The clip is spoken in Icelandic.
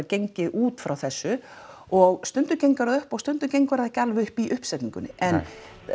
gengið út frá þessu og stundum gengur það upp og stundum gengur það ekki alveg upp í uppsetningunni en